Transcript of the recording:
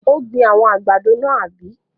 Ó gbin àwọn àgbàdo náà, àbí?